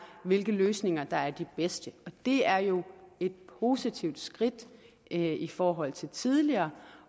hvilke løsninger der er de bedste og det er jo et positivt skridt i forhold til tidligere